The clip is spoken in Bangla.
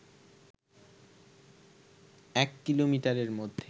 ১ কিলোমিটারের মধ্যে